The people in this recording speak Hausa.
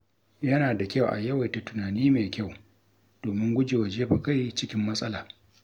Yana da kyau a yawaita tunani mai kyau domin gujewa jefa kai cikin matsala.